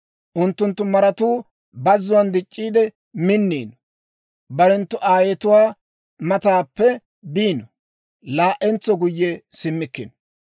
Unttunttu maratuu bazzuwaan dic'c'iide minniino; barenttu aayetuwaa mataappe biino; laa"entso guyye simmikkino.